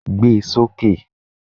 Gbé e sókè!